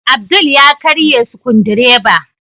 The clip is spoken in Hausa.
Abdul ya karye Sukudireba.